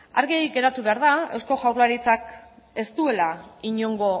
argi geratu behar da eusko jaurlaritzak beraz ez duela inongo